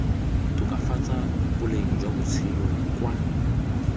tokafatsa boleng jwa botshelo kwa